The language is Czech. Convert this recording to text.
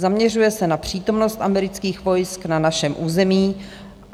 Zaměřuje se na přítomnost amerických vojsk na našem území.